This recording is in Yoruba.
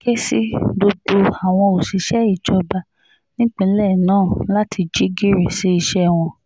ó ké sí gbogbo àwọn òṣìṣẹ́ ìjọba nípínlẹ̀ náà láti jí gìrì sí iṣẹ́ wọn